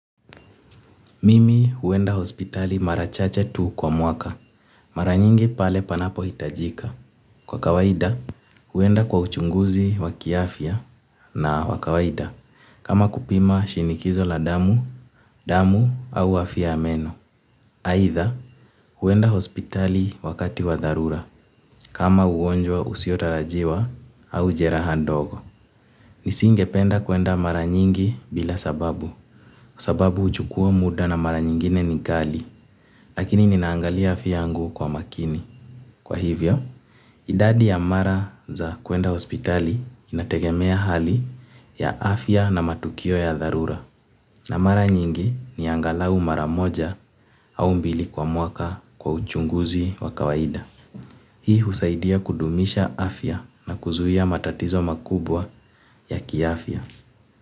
Mimi huenda hospitali marachache tu kwa mwaka. Mara nyingi pale panapo hitajika. Kwa kawaida, huenda kwa uchunguzi waki afya na wakawaida. Kama kupima shinikizo la damu, damu au afya ya meno. AItha huenda hospitali wakati wadharura. Kama ugonjwa usiotarajiwa, au jeraha ndogo. Nisinge penda kuenda maranyingi, bila sababu. Sababu huchukua muda na mara nyingine ni kali. Lakini ninaangalia afya yangu kwa makini. Kwa hivyo, idadi ya mara za kuenda hospitali, inategemea hali ya afya na matukio ya dharura. Na mara nyingi, ni angalau mara moja, au mbili kwa mwaka, kwa uchunguzi wa kawaida. Hii husaidia kudumisha afya na kuzuia matatizo makubwa, ya kiafya.